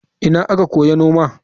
Ina aka koyi noma?